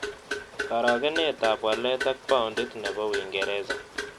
Karogenetap walet ak paondit ne po uingereza